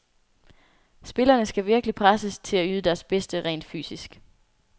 Spillerne skal virkelig presses til at yde deres bedste rent fysisk.